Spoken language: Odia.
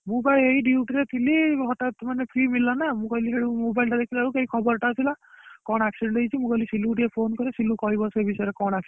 ମୁଁ ବା ଏଇ duty ରେ ଥିନି ହଠାତ୍‌ ମାନେ free ମିଳିଲା ନା ମୁ କହିଲି ସେଇଠୁ mobile ଟା ଦେଖିଲାବେଳକୁ ଏଇ ଖବରଟା ଆସିଲା କଣ accident ହେଇଛି, ମୁଁ କହିଲି ସିଲୁ କୁ ଟିକେ phone କରେ ସିଲୁ କହିବ, ସେ ବିଷୟରେ କଣ accident ହେଇଛି,